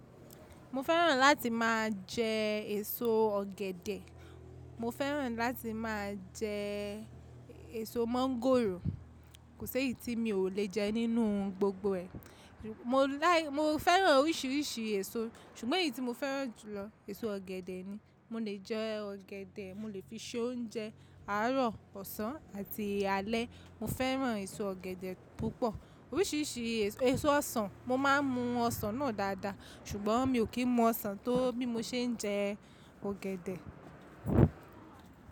Mo fẹ́ràn láti máa jẹ èso ọ̀gẹ̀dẹ̀, mo fẹ́ràn láti máa jẹ èso mọ́ngònro Kò séyì tí mi ò le jẹ nínú gbogbo ẹ̀. Mo láì, mo fẹ́ràn oríṣìíríṣìí èso ṣùgbọ́n èyí tí mo fẹ́ràn jùlọ èso ọ̀gẹ̀dẹ̀ ni. Mo le jẹ ọ̀gẹ̀dẹ̀, mo lè fi sé oúnjẹ, àárọ̀, ọ̀sán àti alẹ́. Mo fẹ́ràn èso ọ̀gẹ̀dẹ̀ púpọ̀. Oríṣìíríṣìí èso ọsàn, mo má ń mu ọsàn náà dáadáa ṣùgbọ́n mi ò kí mọ ọsàn tó bí mo ṣe ń jẹ ọ̀gẹ̀dẹ̀.